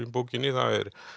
bókinni það